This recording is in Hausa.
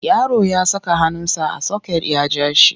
Yaro ya saka hannunsa a soket ya ja shi.